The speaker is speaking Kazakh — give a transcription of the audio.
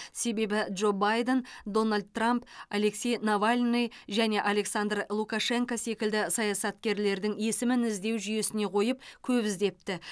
себебі джо байден дональд трамп алексей навальный және александр лукашенко секілді саясаткерлердің есімін іздеу жүйесіне қойып көп іздепті